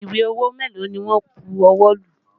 Ìwé owó mélòó ni wọn bu ọwọ́ lù?